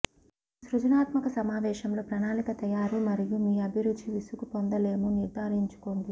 ఒక సృజనాత్మక సమావేశంలో ప్రణాళిక తయారు మరియు మీ అభిరుచి విసుగు పొందలేము నిర్ధారించుకోండి